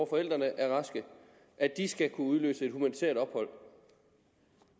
forældre er raske skal kunne udløse et humanitært ophold